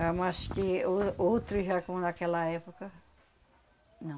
Ah, mas que o outro já, como naquela época, não.